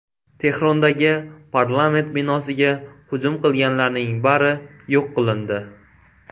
Tehrondagi parlament binosiga hujum qilganlarning bari yo‘q qilindi.